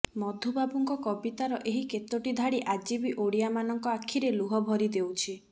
ମଧୁବାବୁଙ୍କ କବିତାର ଏହି କେତୋଟି ଧାଡ଼ି ଆଜିବି ଓଡ଼ିଆମାନଙ୍କ ଆଖିରେ ଲୁହ ଭରି ଦେଉଛି